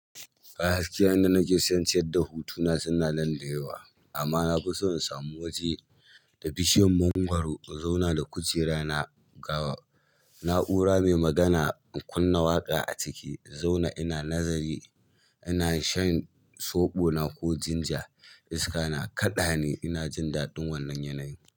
Ba haske a inda nake san cewa hutuna suna nan da yawa, amma na fi so in samu waje da bishiyar mangwaro in zauna da kujera na gawa, na'ura mai magana in kunna waƙa a ciki, in zauna ina nazari, ina shan soɓo na ko ginger, iska na kaɗa ni ina jin daɗin wannan yanayi.